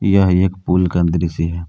यह एक पूल का दृश्य है।